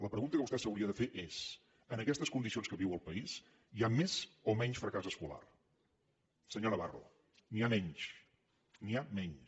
la pregunta que vostè s’hauria de fer és en aquestes condicions en què viu el país hi ha més o menys fracàs escolar senyor navarro n’hi ha menys n’hi ha menys